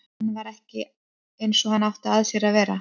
Hann var ekki eins og hann átti að sér að vera.